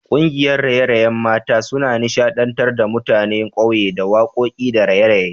Kungiyar raye-rayen mata suna nishadantar da mutanen ƙauye da wakoki da raye-raye